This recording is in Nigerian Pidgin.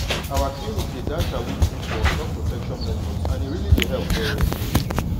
our clinic dey dash awoof info on top protection methods and e really dey help well well.